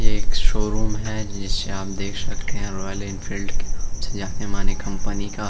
ये एक शोरूम है। ये श्याम देख सकते हैं रॉयल एनफील्ड के नाम से जानीमाने कंपनी का।